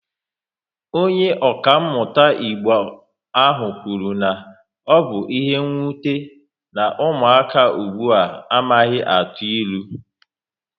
Onye okamuta Igbo ahụ kwuru na ọ bụ ihe nwute, na ụmụaka ugbua a amaghịzi atụ ilu